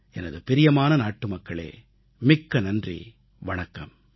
எனது பிரியமான நாட்டுமக்களே மிக்க நன்றி வணக்கம்